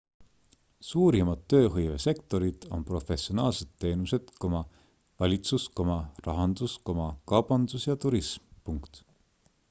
suurimad tööhõivesektorid on professionaalsed teenused valitsus rahandus kaubandus ja turism